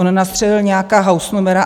On nastřelil nějaká hausnumera.